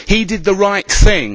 He did the right thing.